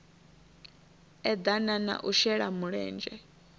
eḓana na u shela mulenzhe